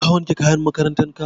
Ka wanke kayan makarantan ka?